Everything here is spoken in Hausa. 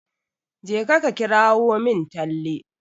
Jeka ka kirawo min Talle.